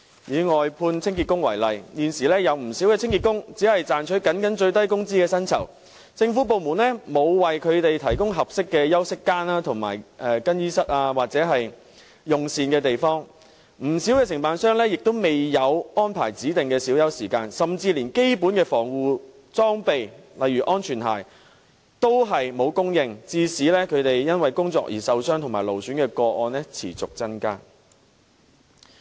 以外判清潔工為例，現時有不少清潔工僅賺取最低工資的薪酬，政府部門沒有為他們提供合適的休息間、更衣室或用膳的地方，不少承辦商亦沒有安排指定的小休時間，甚至連基本的防護裝備亦沒有提供，導致他們因為工作而受傷和勞損的個案持續增加。